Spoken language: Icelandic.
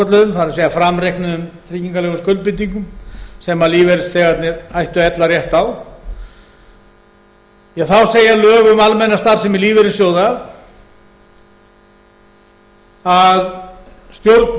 svokölluðuðum það er framreiknuðum tryggingalegum skuldbindingum sem lífeyrisþegarnir ættu ella rétt á þá segja lög um almenna starfsemi lífeyrissjóða að stjórn